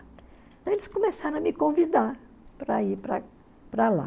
eles começaram a me convidar para ir para para lá.